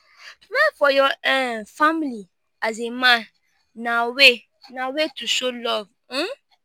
to provide for your um family as a man na way na way to show love um